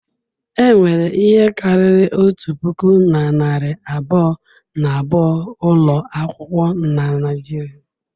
Enwere ihe karịrị otu puku na narị abụọ na abụọ ụlọ akwụkwọ na Nigeria.